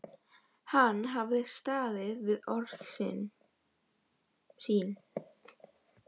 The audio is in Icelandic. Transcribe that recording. Hann hafði staðið við orð sín.